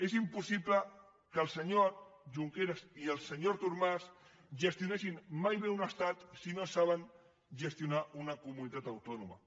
és impossible que el senyor junqueras i el senyor artur mas gestionessin mai bé un estat si no saben gestionar una comunitat autònoma